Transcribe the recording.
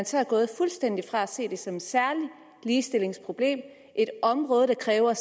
så gået fuldstændig fra at se det som et særligt ligestillingsproblem et område der kræver